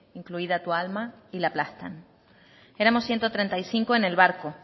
incluida tu alma y la aplastan éramos ciento treinta y cinco en el barco